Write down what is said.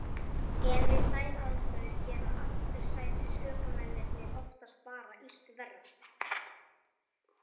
En við þær aðstæður gera aftursætisökumennirnir oftast bara illt verra.